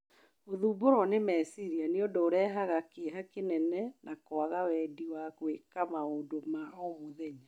Gũthumbũrũo nĩ meciria nĩ ũndũ ũrehaga kĩeha kĩnene na kwaga wendi wa gwĩka maũndũ ma o mũthenya